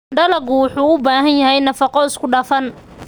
Dalaggu wuxuu u baahan yahay nafaqo isku dhafan.